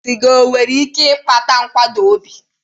Sịga e nwere ike ịkpata nkụda obi?